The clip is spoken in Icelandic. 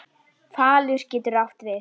Falur getur átt við